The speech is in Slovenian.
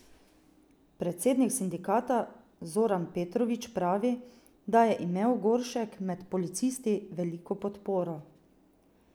Predsednik sindikata Zoran Petrovič pravi, da je imel Goršek med policisti veliko podporo.